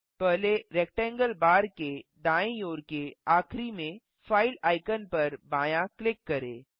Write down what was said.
पहले rectangle bar के दायीं ओर के आखिरी में फाइल आइकन पर बायाँ क्लिक करें